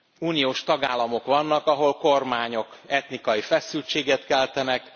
Uniós tagállamok vannak, ahol kormányok etnikai feszültséget keltenek.